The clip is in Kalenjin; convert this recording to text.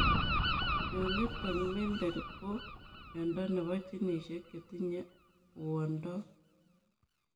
Mionitok mendel ko miondoo nepoo ginisiek chetinye uondoop